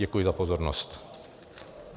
Děkuji za pozornost.